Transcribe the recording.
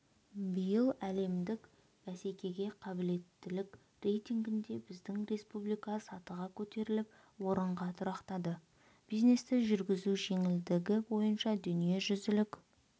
биыл әлемдік бәсекеге қабілеттілік рейтингінде біздің республика сатыға көтеріліп орынға тұрақтады бизнесті жүргізу жеңілдігі бойынша дүниежүзілік